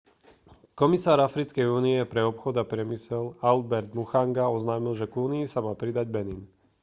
komisár africkej únie pre obchod a priemysel albert muchanga oznámil že k únii sa má pridať benin